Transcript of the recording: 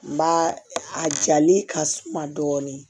N ba a jalen ka suma dɔɔni